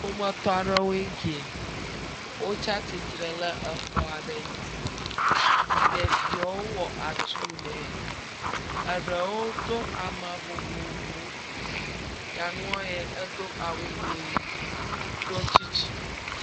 Ƒometɔa ɖewoe kie, wotsa tsitre ɖe exɔa ɖe ŋti. Ɖeviwo wɔ atu nɛ, eɖewo to ama vovovowo, nyɔnua yɛ edo awu ʋi, ɖɔ tsitsi.